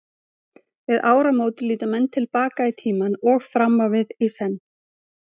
Við áramót líta menn til baka í tímann og fram á við, í senn.